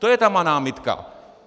To je ta má námitka.